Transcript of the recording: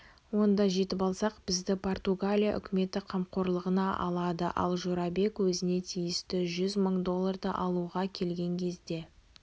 онда жетіп алсақ бізді португалия үкіметі қамқорлығына алады ал жорабек өзіне тиісті жүз мың долларды алуға келген кезде